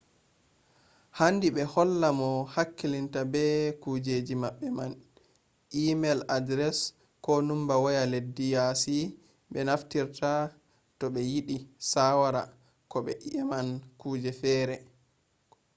handi ɓe holla mo hakkilitta be kujeji maɓɓe man e-mel adres ko numba waya leddi yasi ɓe naftirta to ɓe yiɗi shawara ko to ɓe eman kuje fere